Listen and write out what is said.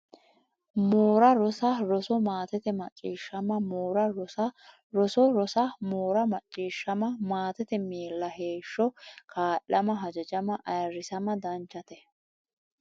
moora rosa roso Maatete macciishshama moora rosa roso roso rosa moora macciishshama Maatete miilla heeshsho kaa lama hajajama ayirrisama Danchate !